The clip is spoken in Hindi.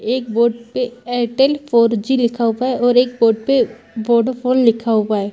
एक बोर्ड पे एयरटेल फॉर-जी लिखा है और एक बोर्ड पे वोडाफोन लिखा हुआ है।